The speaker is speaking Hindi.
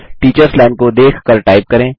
टीचर्स लाइन को देखकर टाइप करें